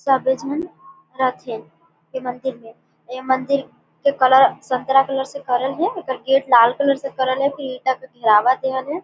सबे झन रथे ये मंदिर हे ये मंदिर के कलर संतरा कलर से करल हे एकर गेट लाल कलर से करल हे नीला के धीवाल देयल हे।